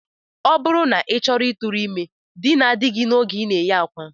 Ọ bụrụ na ị chọrọ ịtụrụ ime, dinaa di gị oge ị na-eyi akwa!